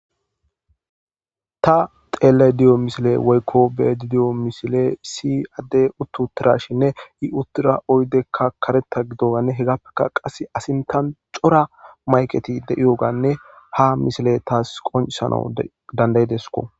ta xeellay diyo misile woykko bedidiyo misile si adde uttuutirashinne i uttura oydekka karetta gidoganne hegappekka qasse asintan cora mayketi de7iyoganne ha misile taas qonsana dandayidesko